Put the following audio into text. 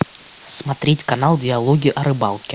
смотреть канал диалоги о рыбалке